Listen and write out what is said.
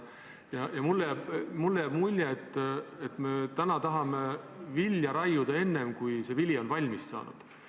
Mulle jääb mulje, et me täna tahame vilja lõigata enne, kui vili on valmis saanud.